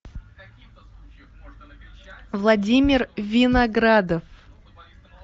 владимир виноградов